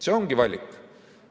See ongi valik.